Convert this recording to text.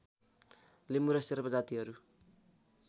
लिम्बु र शेर्पा जातिहरू